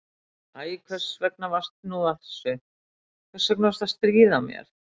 Æ, hvers vegna varstu nú að þessu, hvers vegna varstu að stríða mér?